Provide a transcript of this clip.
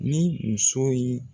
Ni musow ye